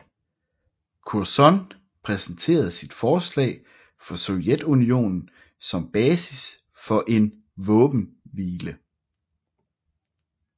Curzon præsenterede sit forslag for Sovjetunionen som basis for en våbenhvile